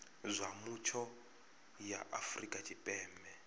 zwa mutsho ya afrika tshipembe